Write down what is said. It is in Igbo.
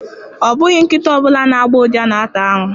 Ọ bụghị nkịta ọ bụla na-agbọ ụja na-ata arụ.